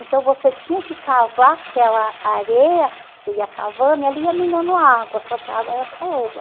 Então você tinha que cavar aquela areia, você ia cavando e ali ia minando água, só que a água era